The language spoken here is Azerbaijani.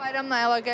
Bayramla əlaqəli?